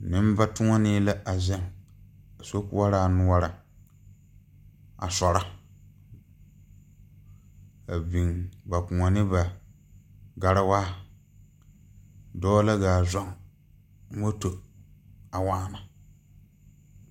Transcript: Neŋbatoɔnee la a zeŋ sokoɔraa noɔreŋ a sɔrɔ a biŋ ba kõɔ ne ba gariwaa dɔɔ la gaa zɔŋ moto a waana.